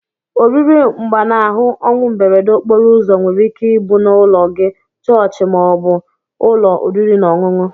Oriri mgbanahu onwu mberede okporo ụzọ nwere ike ibu na ụlọ gi, chọọchi ma obu ụlọ oriri na ọnyụnyụ.